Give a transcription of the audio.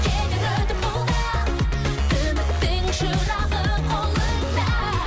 кетер өтіп бұл да үміттің шырағы қолыңда